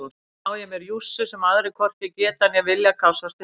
Þarna á ég mér jússu sem aðrir hvorki geta né vilja kássast upp á.